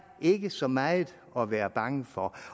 ikke så meget at være bange for